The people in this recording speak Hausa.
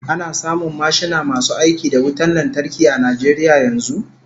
Ana samun mashina masu aiki da wutan lantarki a Najeriya yanzu?